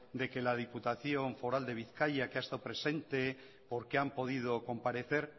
de que la diputación foral de bizkaia que ha estado presente porque han podido comparecer